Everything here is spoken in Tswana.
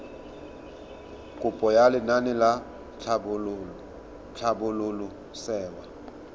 kopo ya lenaane la tlhabololosewa